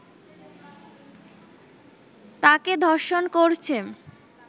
তাকে ধর্ষণ করছে